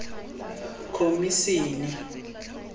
khomisene